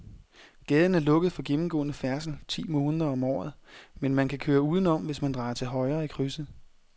Gaden er lukket for gennemgående færdsel ti måneder om året, men man kan køre udenom, hvis man drejer til højre i krydset.